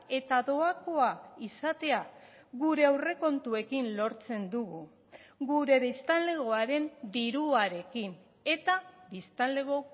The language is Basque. eta doakoa izatea gure aurrekontuekin lortzen dugu gure biztanlegoaren diruarekin eta biztanlego